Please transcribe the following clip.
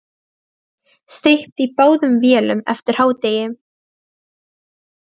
Steypt í báðum vélum eftir hádegi.